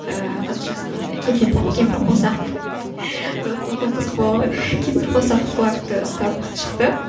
ыыы қазақшасы не еді бұл қызық болды ғой кемпірқосақ флагті ұстап шықты